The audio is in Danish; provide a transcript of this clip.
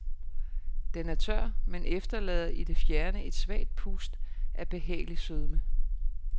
Den er tør, men efterlader i det fjerne et svagt pust af behagelig sødme.